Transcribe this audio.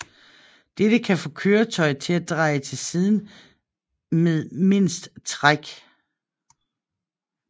Dette kan få køretøjet til at dreje til siden med mindst træk